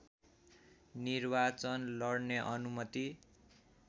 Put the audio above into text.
निर्वाचन लड्ने अनुमति